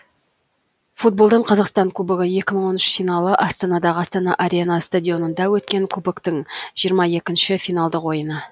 футболдан қазақстан кубогы екі мың он үш финалы астанадағы астана арена стадионында өткен кубоктың жиырма екінші финалдық ойыны